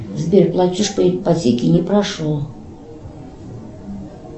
сбер платеж по ипотеке не прошел